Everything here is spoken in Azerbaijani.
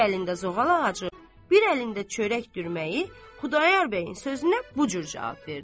Bir əlində zoğal ağacı, bir əlində çörək dürməyi, Xudayar bəyin sözünə bu cür cavab verdi.